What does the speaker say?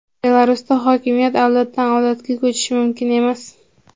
Belarusda hokimiyat avloddan avlodga ko‘chishi mumkin emas.